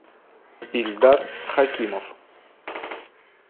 ильдар хакимов